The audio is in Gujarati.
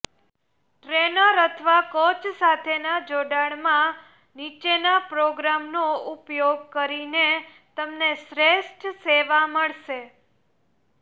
ટ્રેનર અથવા કોચ સાથેના જોડાણમાં નીચેના પ્રોગ્રામનો ઉપયોગ કરીને તમને શ્રેષ્ઠ સેવા મળશે